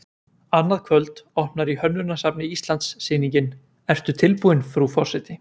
Annað kvöld opnar í Hönnunarsafni Íslands sýningin Ertu tilbúin, frú forseti?